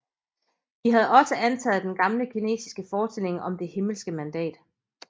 De havde også antaget den gamle kinesiske forestilling om Det himmelske mandat